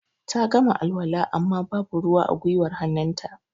Ta gama alwala amma ba bu ruwa a gwiwar hannun ta